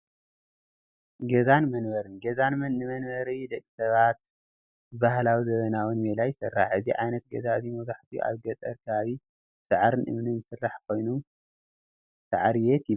ገዛን መንበርን፡- ገዛ ንመንበሪ ደቂ ሰባት ብባህላውን ዘበናውን ሜላ ይስራሕ፡፡ እዚ ዓይነት ገዛ እዚ መብዛሕትኡ ኣብ ገጠር ከባቢ ብሳዕርን እምንን ዝስራሕ ኮይኑ ሳዕሪ ቤት ይባሃል፡፡